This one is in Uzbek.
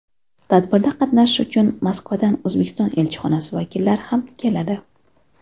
Tadbirda qatnashish uchun Moskvadan O‘zbekiston elchixonasi vakillari ham keladi.